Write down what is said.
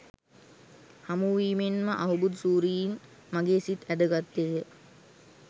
හමුවීමෙන් ම අහුබුදු සූරීන් මගේ සිත් ඇද ගත්තේය.